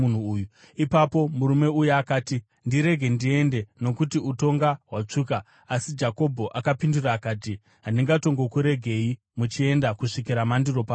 Ipapo murume uya akati, “Ndirege ndiende, nokuti utonga hwatsvuka.” Asi Jakobho akapindura akati, “Handingatongokuregei muchienda kusvikira mandiropafadza.”